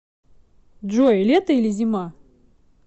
джой лето или зима